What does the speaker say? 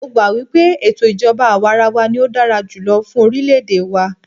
Mó gbà wípé ètò ìjọbá àwàrawa ní o dára jùlọ fún orilẹ ède wa.